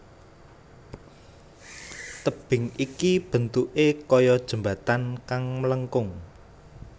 Tebing iki bentuké kaya jembatan kang melengkung